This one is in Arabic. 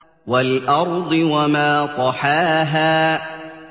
وَالْأَرْضِ وَمَا طَحَاهَا